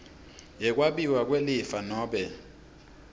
yekwabiwa kwelifa nobe